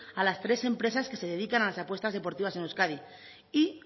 a las tres empresas que se dedican a las apuestas deportivas en euskadi y